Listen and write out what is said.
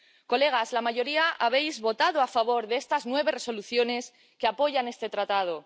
Colegas, la mayoría habéis votado a favor de estas nueve Resoluciones que apoyan este Tratado.